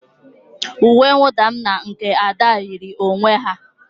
Uwe mwụda m na nke Ada yiri onwe ha.